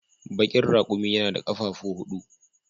Bakin raƙumi yana da ƙafafu huɗu.